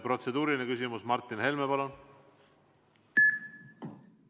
Protseduuriline küsimus, Martin Helme, palun!